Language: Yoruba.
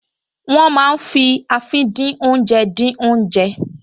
Wọ́n máa ń fi àfìdínoúnjẹ dín oúnjẹ